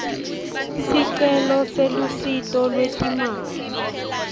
sicelo selusito lwetimali